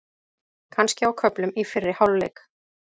Kannski á köflum í fyrri hálfleik.